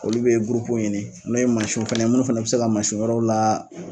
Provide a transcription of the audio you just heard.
Olu bɛ gurupu ɲini n'o ye mansinw fana ye minnu fana bɛ se ka mansin wɛrɛw la